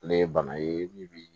Ale ye bana ye min bɛ